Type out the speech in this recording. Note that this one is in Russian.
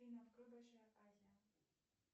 афина открой большая азия